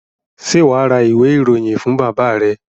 Ṣé wà á ra ìwé-ìròyìn fún bàbá rẹ?